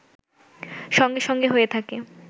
সঙ্গে সঙ্গে হয়ে থাকে